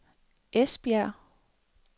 Esbjerg